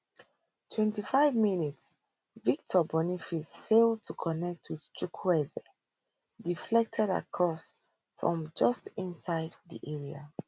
twenty five twenty five mins victor boniface fail to connect wit chukwueze deflected cross from just inside di areamins victor boniface fail to connect wit chukwueze deflected cross from just inside di area